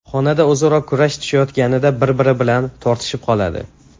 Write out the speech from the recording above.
Xonada o‘zaro kurash tushayotganida bir-biri bilan tortishib qoladi.